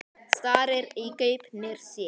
Starir í gaupnir sér.